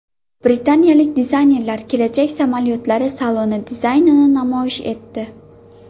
Britaniyalik dizaynerlar kelajak samolyotlari saloni dizaynini namoyish etdi.